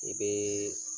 I bɛ